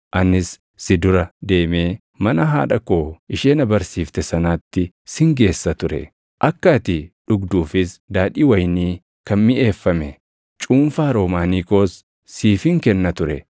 Anis si dura deemee mana haadha koo ishee na barsiifte sanaatti sin geessa ture. Akka ati dhugduufis daadhii wayinii kan miʼeeffame cuunfaa roomaanii koos siifin kenna ture.